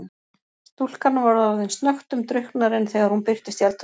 Stúlkan var orðin snöggtum drukknari en þegar hún birtist í eldhúsinu.